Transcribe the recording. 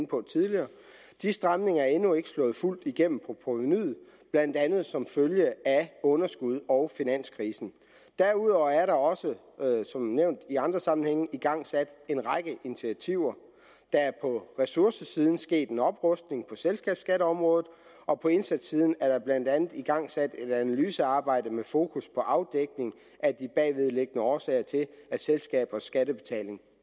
på tidligere de stramninger er endnu ikke slået fuldt igennem på provenuet blandt andet som følge af underskud og finanskrisen derudover er der også som nævnt i andre sammenhænge igangsat en række initiativer der er på ressourcesiden sket en oprustning på selskabsskatteområdet og på indsatssiden er der blandt andet igangsat et analysearbejde med fokus på afdækning af de bagvedliggende årsager til at selskabers skattebetaling